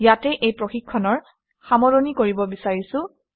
ইয়াতে এই প্ৰশিক্ষণৰ সামৰণি মাৰিব বিচাৰিছোঁ